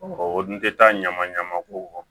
O dun tɛ taa ɲama ɲama ko